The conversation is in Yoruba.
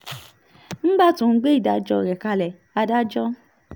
nígbà tó ń gbé ìdájọ́ rẹ̀ kalẹ̀ adájọ́ h